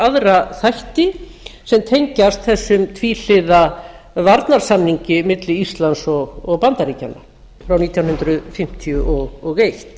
aðra þætti sem tengjast þessum tvíhliða varnarsamningi milli íslands og bandaríkjanna frá nítján hundruð fimmtíu og eitt